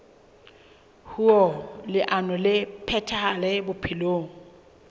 hoer leano le phethahale bophelong